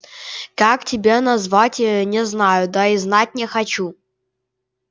как тебя назвать не знаю да и знать не хочу